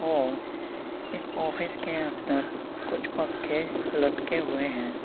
और इस ऑफिस के अंदर कुछ पंखे लटके हुए हैं।